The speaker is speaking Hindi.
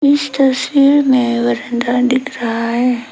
इस तस्वीर में बरंदा दिख रहा है।